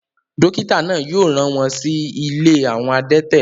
dókítà náà yóò rán wọn si ilé àwọn adẹ́tẹ̀